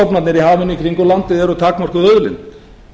í hafinu kringum landið er takmörkuð auðlind það